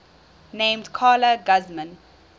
named carla guzman